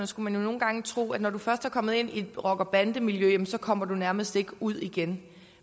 skulle man nogle gange tro at når du først er kommet ind i et rocker bande miljø jamen så kommer du nærmest ikke ud igen